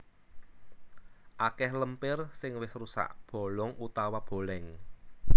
Akèh lempir sing wis rusak bolong utawa bolèng